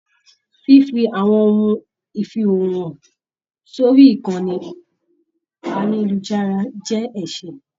Fífi àwọn ohun ifiihoho hàn sórí ìkànnì ayelujara jẹ ẹsẹ.